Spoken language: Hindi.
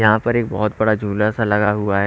यहां पर एक बहोत बड़ा झूला सा लगा हुआ है।